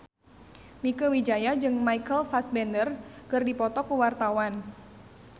Mieke Wijaya jeung Michael Fassbender keur dipoto ku wartawan